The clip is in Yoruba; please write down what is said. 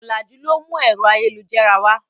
Ọ̀làjú ló mú ẹ̀rọ ayélujára wá.